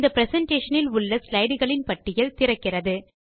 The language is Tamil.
இந்த பிரசன்டேஷன் இல் உள்ள ஸ்லைட்களின் பட்டியல் திறக்கிறது